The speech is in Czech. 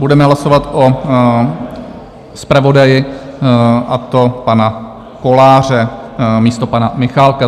Budeme hlasovat o zpravodaji, a to panu Kolářovi místo pana Michálka.